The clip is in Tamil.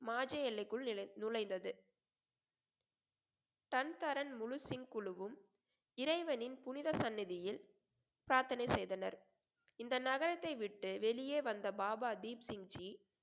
மாஜ எல்லைக்குள் நிழை~ நுழைந்தது சந்தரன் முழு சிங் குழுவும் இறைவனின் புனித சன்னதியில் பிரார்த்தனை செய்தனர் இந்த நகரத்தை விட்டு வெளியே வந்த பாபா தீப்சிங்ஜி